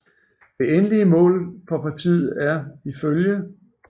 Det endelige mål for Partiet er iflg